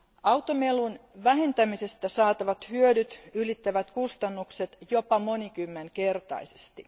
Automelun vähentämisestä saatavat hyödyt ylittävät kustannukset jopa monikymmenkertaisesti.